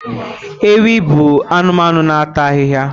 Ewi bụ anụmanụ na-ata ahịhịa.